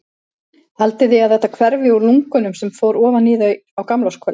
Haldið þið að þetta hverfi úr lungunum sem ofan í þau fór á gamlárskvöld?